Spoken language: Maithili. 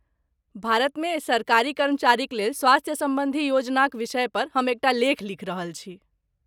भारतमे सरकारी कर्मचारीक लेल स्वास्थ्य सम्बन्धी योजनाक विषय पर हम एकटा लेख लिखि रहल छी।